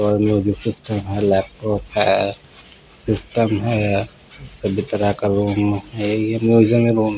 और music system है laptop है सिस्टम है संगीत का रूम है म्यूजिकल रूम --